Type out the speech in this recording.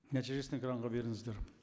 нәтижесін экранға беріңіздер